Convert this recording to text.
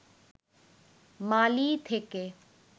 মালি থেকে